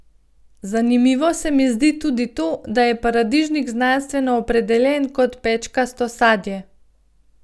Zanimivo se mi zdi tudi to, da je paradižnik znanstveno opredeljen kot pečkasto sadje.